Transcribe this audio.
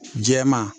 Jɛman